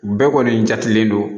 Bɛɛ kɔni jatelen don